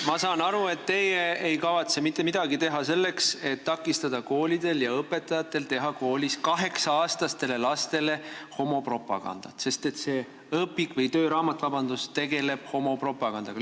Ma saan aru, et teie ei kavatse mitte midagi teha selleks, et takistada koolides õpetajatel tegemast kaheksa-aastastele lastele homopropagandat, sest see tööraamat tegeleb homopropagandaga.